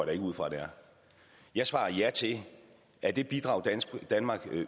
ikke ud fra det er jeg svarer ja til at det bidrag danmark